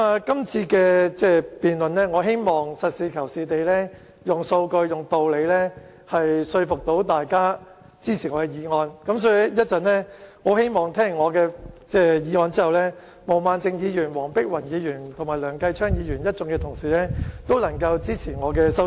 今次的辯論，我希望實事求是，用數據和道理說服大家支持我的修正案，因此，我希望聽完我就修正案發言後，毛孟靜議員、黃碧雲議員和梁繼昌議員一眾同事都能夠支持我的修正案。